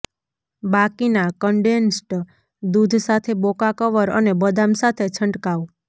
બાકીના કન્ડેન્સ્ડ દૂધ સાથે બોકા કવર અને બદામ સાથે છંટકાવ